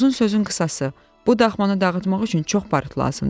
Uzun sözün qısası, bu dağmanı dağıtmaq üçün çox barıt lazımdır.